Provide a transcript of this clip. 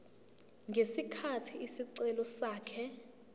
ngesikhathi isicelo sakhe